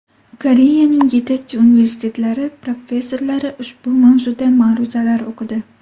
Koreyaning yetakchi universitetlari professorlari ushbu mavzuda ma’ruzalar o‘qidi.